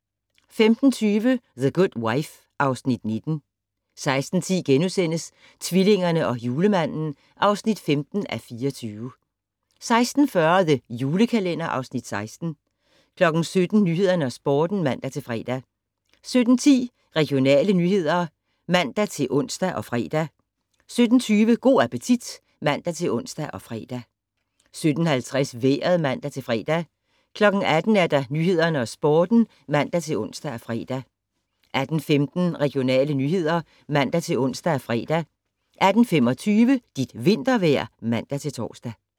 15:20: The Good Wife (Afs. 19) 16:10: Tvillingerne og Julemanden (15:24)* 16:40: The Julekalender (Afs. 16) 17:00: Nyhederne og Sporten (man-fre) 17:10: Regionale nyheder (man-ons og fre) 17:20: Go' appetit (man-ons og fre) 17:50: Vejret (man-fre) 18:00: Nyhederne og Sporten (man-ons og fre) 18:15: Regionale nyheder (man-ons og fre) 18:25: Dit vintervejr (man-tor)